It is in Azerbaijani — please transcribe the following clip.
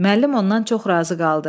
Müəllim ondan çox razı qaldı.